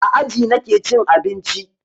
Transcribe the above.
A aji nake cin abinci.